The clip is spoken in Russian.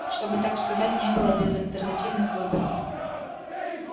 чтобы так сказать не было безальтернативных выборов